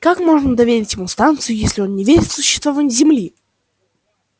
как можно доверить ему станцию если он не верит в существование земли